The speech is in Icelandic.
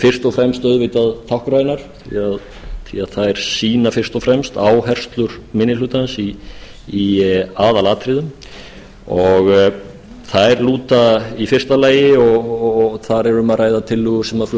fyrst og fremst auðvitað táknrænar því þær sýna fyrst og fremst áherslur minni hlutans í aðalatriðum þær lúta í fyrsta lagi og þar er um að ræða tillögur sem fluttar